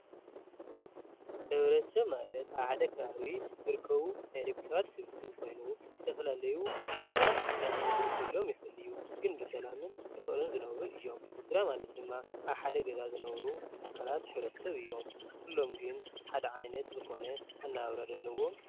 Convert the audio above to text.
ሕብረተሰብ ማለት ኣብ ሓደ ከባቢ ዝርከቡ ናይ ደቂ ሰባት ስብስብ ኮይኑ ዝተፈላለዩ ቋንቋን ሃይማኖትን ክህሉ ይክእል እዩ። ግን ብሰላምን ብፍቅርን ዝነብሩ እዮም። ስድራ ማለት ድማ ኣብ ሓደ ገዛ ዝነብሩ ኣካላት ሕብረተ ሰብ እዮም። ኩሎም ግን ሓደ ዓይነት ዝኾነ ኣነባብራ ዶ ኣለዎም ?